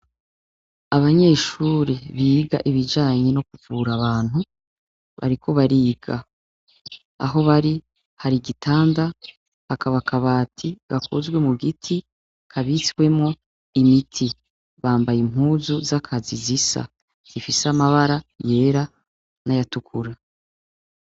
Abanyeshure biga ibijanye no kuvura abantu bariko bariga. Aho bari hari igitanda, hakaba kabati gakozwe mu giti, kabitswemwo imiti. Bambaye impuzu z'akazi zisa, zifise amabara yera n'ayatukura.